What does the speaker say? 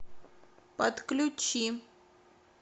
подключи